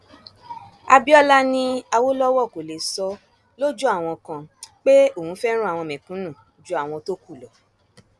abiola ni awolowo kó lè sọ lójú àwọn kan pé òun fẹràn àwọn mẹkúnnù ju àwọn tó kù lọ